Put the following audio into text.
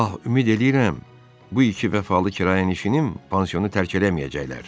Ah, ümid eləyirəm, bu iki vəfalı kirayənişinim pansionu tərk eləməyəcəklər.